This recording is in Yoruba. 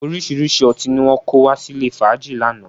Orísìíríṣìí ọtí ni wọn kó wá sílè fàájì lánàá